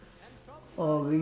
og ég